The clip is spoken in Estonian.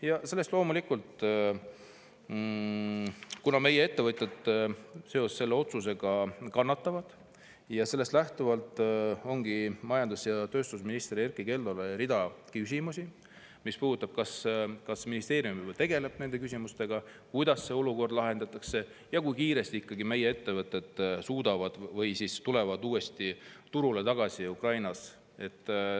" Ja loomulikult, kuna meie ettevõtjad selle otsuse tõttu kannatavad, ongi meil majandus- ja tööstusminister Erkki Keldole hulk küsimusi, mis puudutavad, kas ministeerium juba tegeleb nende küsimustega, kuidas see olukord lahendatakse ja kui kiiresti ikkagi meie ettevõtted suudavad tulla uuesti Ukraina turule tagasi.